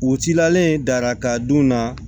U cilalen daraka dun na